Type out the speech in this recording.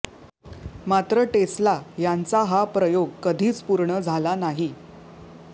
मात्र टेस्ला यांचा हा प्रयोग कधीच पुर्ण झाला नाही